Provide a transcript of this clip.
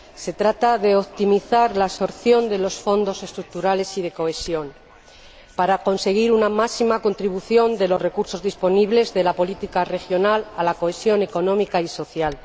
se trata de optimizar la absorción de los Fondos Estructurales y del Fondo de Cohesión para conseguir la máxima contribución de los recursos disponibles de la política regional a la cohesión económica y social.